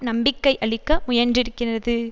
நம்பிக்கை அளிக்க முயன்றிருக்கிறது